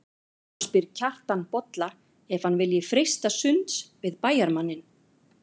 Þá spyr Kjartan Bolla ef hann vilji freista sunds við bæjarmanninn.